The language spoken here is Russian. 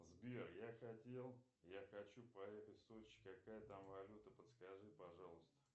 сбер я хотел я хочу поехать в сочи какая там валюта подскажи пожалуйста